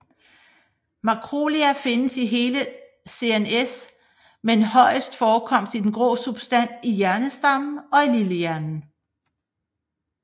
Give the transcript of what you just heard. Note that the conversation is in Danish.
Mikroglia findes i hele CNS med højest forekomst i den grå substans i hjernestammen og lillehjernen